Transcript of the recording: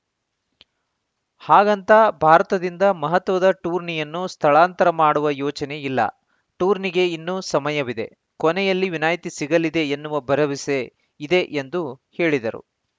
ಹಾಗಂತ ಭಾರತದಿಂದ ಮಹತ್ವದ ಟೂರ್ನಿಯನ್ನು ಸ್ಥಳಾಂತರ ಮಾಡುವ ಯೋಚನೆ ಇಲ್ಲ ಟೂರ್ನಿಗೆ ಇನ್ನೂ ಸಮಯವಿದೆ ಕೊನೆಯಲ್ಲಿ ವಿನಾಯ್ತಿ ಸಿಗಲಿದೆ ಎನ್ನುವ ಭರವಸೆ ಇದೆ ಎಂದು ಹೇಳಿದರು